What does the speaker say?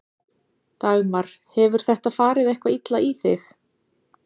Dagmar: Hefur þetta farið eitthvað illa í þig?